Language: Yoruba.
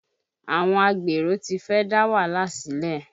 Àwọn agbero ti fẹ́ dá wàhálà sílẹ̀